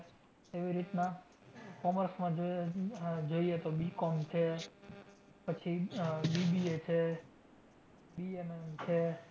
એવી રીતના commerce માં જઈએ અમ જઈએ તો BCOM છે, પછી આહ BBA છે, છે.